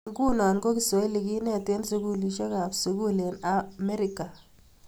Nguno ko kiswahili kenet eng sukulisiekap sukul eng Amerika